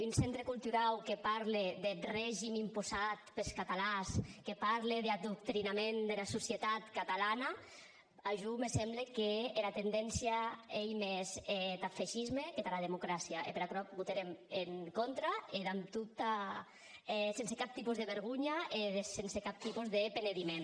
un centre culturau que parle deth regim imposat pes catalans que parle d’adoctrinament dera societat catalana a jo me semble qu’era tendéncia ei mès tath fascisme que tara democràcia e per aquerò votèrem en contra e sense cap tipe de vergonha e sense cap tipe de penediment